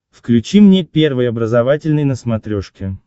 включи мне первый образовательный на смотрешке